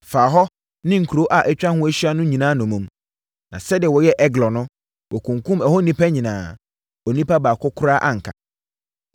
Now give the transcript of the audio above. faa hɔ ne nkuro a atwa ho ahyia no nyinaa nnommum. Na sɛdeɛ wɔyɛɛ Eglon no, wɔkunkumm ɛhɔ nnipa nyinaa. Onipa baako koraa anka.